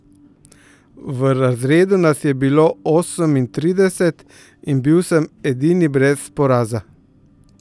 V razredu nas je bilo osemintrideset in bil sem edini brez poraza.